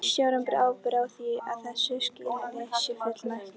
Stjórnin ber ábyrgð á því að þessu skilyrði sé fullnægt.